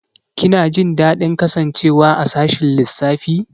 Kina jin daɗin kasancewa a sashin lissafi?